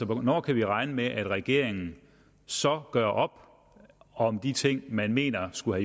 hvornår kan vi regne med at regeringen så gør op om om de ting man mener skulle